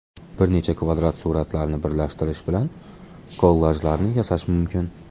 Bir nechta kvadrat suratlarni birlashtirish bilan kollajlarni yasash mumkin.